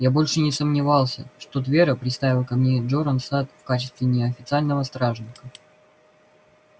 я больше не сомневался что твера приставил ко мне джоран сатт в качестве неофициального стражника